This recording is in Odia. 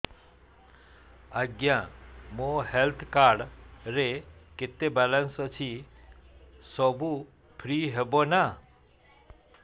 ଆଜ୍ଞା ମୋ ହେଲ୍ଥ କାର୍ଡ ରେ କେତେ ବାଲାନ୍ସ ଅଛି ସବୁ ଫ୍ରି ହବ ନାଁ